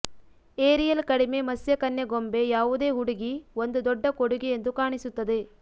aerial ಕಡಿಮೆ ಮತ್ಸ್ಯಕನ್ಯೆ ಗೊಂಬೆ ಯಾವುದೇ ಹುಡುಗಿ ಒಂದು ದೊಡ್ಡ ಕೊಡುಗೆ ಎಂದು ಕಾಣಿಸುತ್ತದೆ